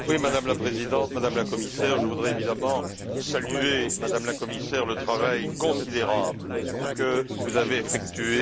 Madame la Présidente, Madame la Commissaire, je voudrais évidemment saluer, Madame la Commissaire, le travail considérable que vous avez effectué.